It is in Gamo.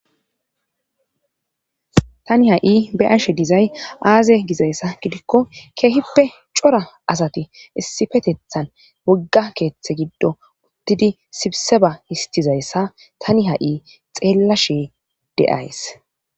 tani ha7i be'ashe dizay aaze gizayssa gidikko keehippe cora asati issifetethan wogga keeththe giddo uttidi sibse ba histizayssa tani ha7i xeella shee de7ays